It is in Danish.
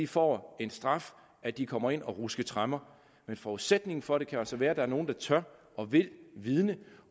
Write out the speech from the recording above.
får en straf at de kommer ind at ruske tremmer men forudsætningen for det kan altså være at der er nogle der tør og vil vidne